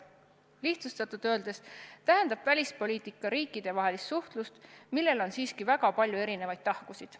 Lihtsustatult öeldes tähendab välispoliitika riikidevahelist suhtlust, millel on siiski väga palju erinevaid tahkusid.